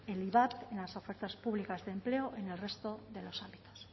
el ivap en las ofertas públicas de empleo en el resto de los ámbitos